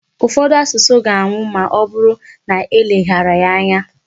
Ufodu asusu ga-anwụ ma ọbụrụ na e leghara ya anya.